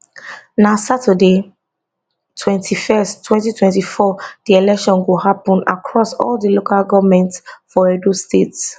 na saturday 21 2024 di election go happun across all di local govment for edo state